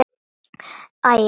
Átti hann erindi við mig?